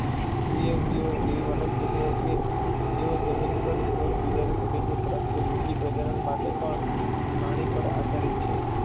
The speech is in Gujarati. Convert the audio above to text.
દ્વિઅંગીઓ એવી વનસ્પતિઓ કે જેઓ જમીન પર જીવન ગુજારી શકે છે પરંતુ લિંગી પ્રજનન માટે પાણી પર આધારિત છે.